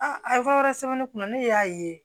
a ye fɛn wɛrɛ sɛbɛn ne kunna ne y'a ye